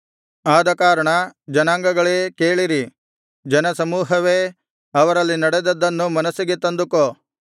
ಆದಕಾರಣ ಜನಾಂಗಗಳೇ ಕೇಳಿರಿ ಜನಸಮೂಹವೇ ಅವರಲ್ಲಿ ನಡೆದದ್ದನ್ನು ಮನಸ್ಸಿಗೆ ತಂದುಕೋ